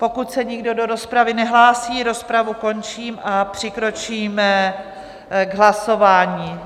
Pokud se nikdo do rozpravy nehlásí, rozpravu končím a přikročíme k hlasování.